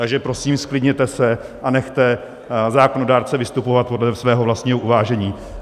Takže prosím, zklidněte se a nechte zákonodárce vystupovat podle svého vlastního uvážení.